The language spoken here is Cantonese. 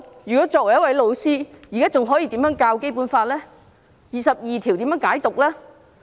如果作為一位老師，我現在還可以怎樣教授《基本法》；該如何解讀第二十二條？